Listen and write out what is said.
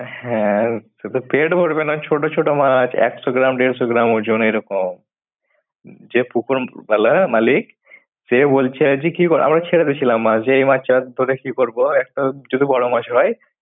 হ্যাঁ শুধু পেট ভরবে না ছোট ছোট মাছ একশ গ্রাম দেড়শো গ্রাম ওজন এরকম। যে পুকুর উম ওয়ালা মালিক সে বলছে যে কি কর? আমরা ছেড়ে দিছিলাম মাছ যে এই মাছ ধরে কি করব একটা যদি বড় মাছ হয়